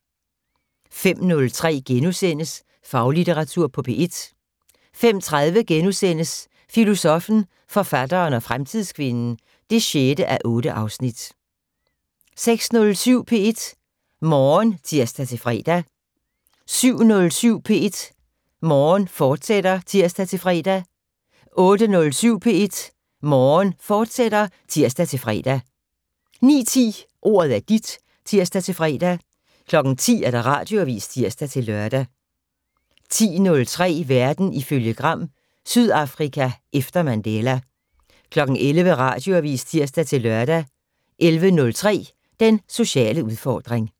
05:03: Faglitteratur på P1 * 05:30: Filosoffen, forfatteren og fremtidskvinden (6:8)* 06:07: P1 Morgen (tir-fre) 07:07: P1 Morgen, fortsat (tir-fre) 08:07: P1 Morgen, fortsat (tir-fre) 09:10: Ordet er dit (tir-fre) 10:00: Radioavis (tir-lør) 10:03: Verden ifølge Gram: Sydafrika efter Mandela 11:00: Radioavis (tir-lør) 11:03: Den sociale udfordring